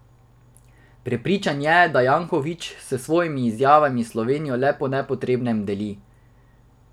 Prepričan je, da Janković s svojimi izjavami Slovenijo le po nepotrebnem deli.